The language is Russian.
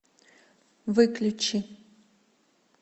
выключи